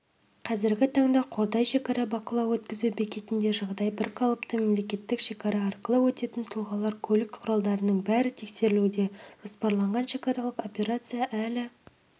қазіргі таңда қордай шекара бақылау-өткізу бекетінде жағдай бірқалыпты мемлекеттік шекара арқылы өтетін тұлғалар көлік құралдарының бәрі тексерілуде жоспарланған шекаралық операция әлі